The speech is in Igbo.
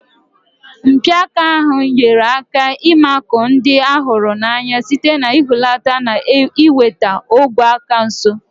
Mpi aka ahụ nyere aka ịmakụ ndị a hụrụ n'anya site n'ihulata na iweta ogwe aka nso.